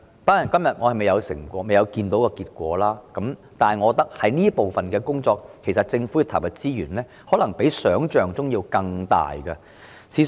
當然，現時結果尚未顯現，但我認為對於這方面的工作，政府要投入的資源可能較想象中多。